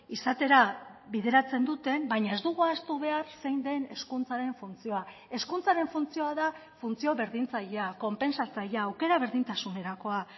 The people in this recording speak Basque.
izatera bideratzen duten baina ez dugu ahaztu behar zein den hezkuntzaren funtzioa hezkuntzaren funtzioa da funtzio berdintzailea konpentsatzailea aukera berdintasunerakoa